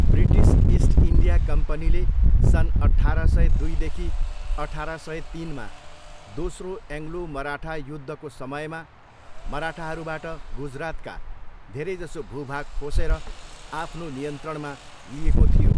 British East India कम्पनीले सन अठार सय दुईदेखि अठार सय तिनमा दोस्रो एङ्लो मराठा युद्धको समयमा मराठाहरूबाट गुजरातका धेरैजसो भूभाग खोसेर आफ्नो नियन्त्रणमा लिएको थियो।